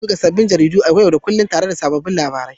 Ana buga sabbin jaridu yau da kullun tare da sabbin labarai.